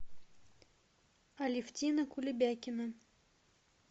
алевтина кулебякина